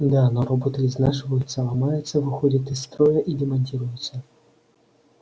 да но роботы изнашиваются ломаются выходят из строя и демонтируются